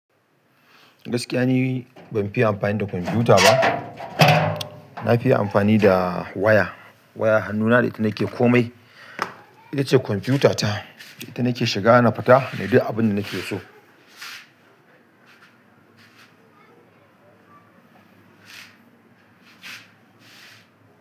Gaskiya ni ban fiye amfani da kwamfuta ba. Na fiye amfani da waya. Wayar hannuna da ita nake komai. Itace kwamfutata, ita nake shiga na fita na yi duk abin da nake so.